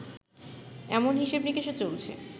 এমন হিসেব-নিকেশও চলছে